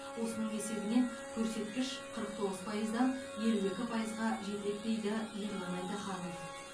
осының есебінен көрсеткіш қырық тоғыз пайыздан елу екі пайызға жетеді дейді ерлан айтаханов